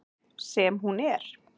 Sem hún er.